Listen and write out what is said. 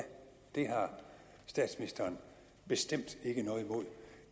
det har statsministeren bestemt ikke noget imod